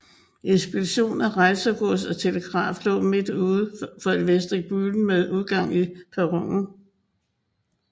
Ekspedition af rejsegods og telegraf lå midt udfor vestibulen med udgang til perronen